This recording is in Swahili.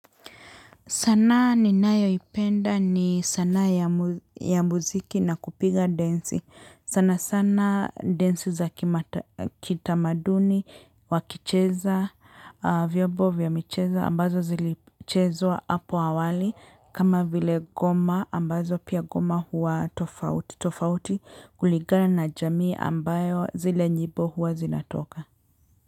Sanaa ninayoipenda ni sanaa ya muziki na kupiga densi. Sana sana densi za kitamaduni, wakicheza, vyobo vya michezo ambazo zilichezwa apo awali. Kama vile goma ambazo pia goma huwa tofauti tofauti kulingana na jamii ambayo zile nyibo huwa zinatoka.